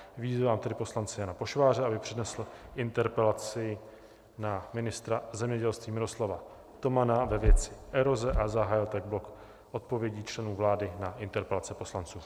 Vyzývám tedy poslance Jana Pošváře, aby přednesl interpelaci na ministra zemědělství Miroslava Tomana ve věci eroze a zahájil tak blok odpovědí členů vlády na interpelace poslanců.